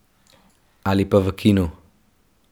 Ali pa v kinu.